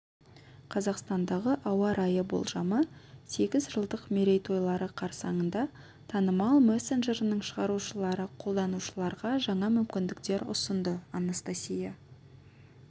қазақстандағы ауа райы болжамы сегіз жылдық мерейтойлары қарсаңында танымал мессенджерінің шығарушылары қолданушыларға жаңа мүмкіндіктер ұсынды анастасия